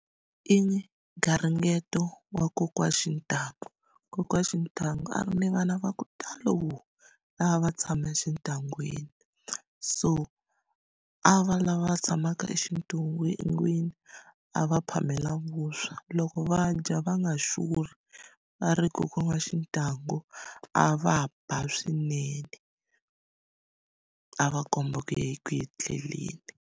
I garingeto wa kokwana Xintangu kokwani Xintangu a ri ni vana va ku talo lava a va tshame exintangwini so a va lava tshamaka a va phamela vuswa loko va dya va nga xurhi va ri kokwana wa Xintangu a va ba swinene a va komba ku .